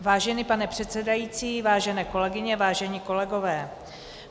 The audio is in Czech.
Vážený pane předsedající, vážené kolegyně, vážení kolegové.